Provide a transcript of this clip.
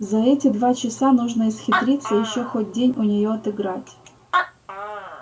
за эти два часа нужно исхитриться ещё хоть день у нее отыграть